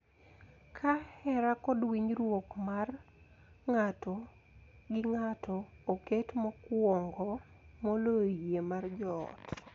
Ka hera kod winjruok mar ng�ato gi ng�ato oket mokuongo moloyo yie mar joot,